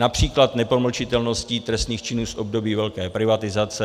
Například nepromlčitelnost trestných činů z období velké privatizace.